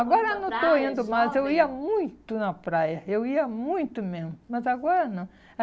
Agora não estou indo mais, eu ia muito na praia, eu ia muito mesmo, mas agora não.